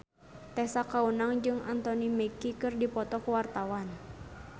Tessa Kaunang jeung Anthony Mackie keur dipoto ku wartawan